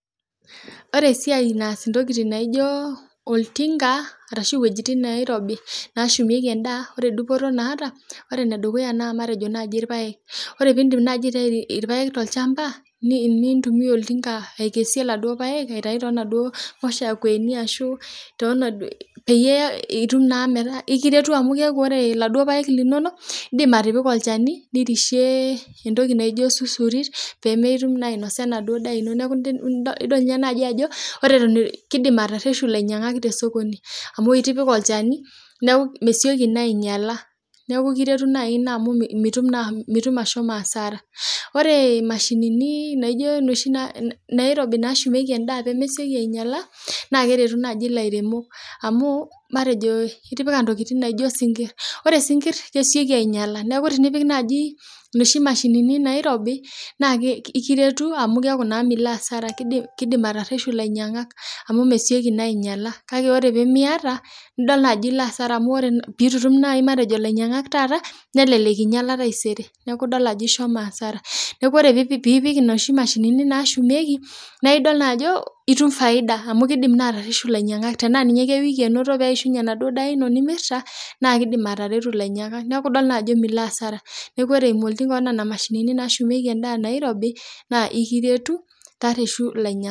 Ore esiai, naas intokitin naijo oltinka, arashu wuejitin nairobi neeshumieki edaa. ore dupoto naata, ore ene dukuya naa matejo naaji ilapaek. ore pee iidim naaji aitayu ilpaek toltinka, nintumia oltinka aikesie iladuok paek, aitayu too naduoo mushakueni, ashu too naduoo. peyie itum naa metaa ekiretu amu ore iladuoo paek linonok. idim atipika olchani. pee metum naa ainosa enaduoo daa ino. idol naa naji ajo ore Eton eitu, kidim atareshu olainyiangak tosokoni, amu itipika olchani, neeku mesiok naa aingiala. ore omashin naa piiki ntokitin naijo isinkir, kake ore naa pee Miata naa ekingiala taisere.